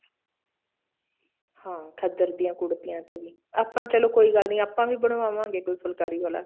ਹਾਂ ਖੱਦਰ ਦੀਆਂ ਕੂੜਤੀਆਂ ਤੇ ਵੀ ਆਪਾਂ ਚੱਲੋ ਕੋਈ ਗੱਲ ਨੀ ਆਪਾਂ ਵੀ ਬਣਵਾਵਾਂਗੇ ਕੋਈ ਫੁਲਕਾਰੀ ਵਾਲਾ